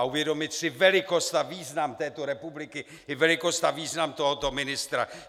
A uvědomit si velikost a význam této republiky i velikost a význam tohoto ministra.